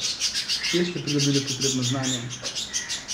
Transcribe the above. Kje ste pridobili potrebno znanje?